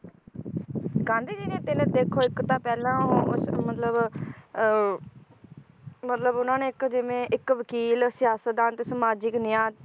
ਗਾਂਧੀ ਜੀ ਨੇ ਤਿੰਨ ਦੇਖੋ ਇਕ ਤਾਂ ਪਹਿਲਾਂ ਉਹ ਮਤਲਬ ਅਹ ਮਤਲਬ ਉਹਨਾਂ ਨੇ ਇਕ ਜਿਵੇ ਇਕ ਵਕੀਲ, ਸਿਆਸਤਦਾਨ ਤੇ ਸਮਾਜਿਕ ਨਿਆਂ